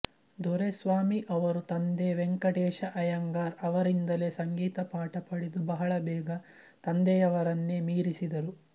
ದೊರೆಸ್ವಾಮಿ ಅವರು ತಂದೆ ವೆಂಕಟೇಶ ಅಯ್ಯಂಗಾರ್ ಅವರಿಂದಲೇ ಸಂಗೀತ ಪಾಠ ಪಡೆದು ಬಹಳ ಬೇಗ ತಂದೆಯವರನ್ನೇ ಮೀರಿಸಿದರು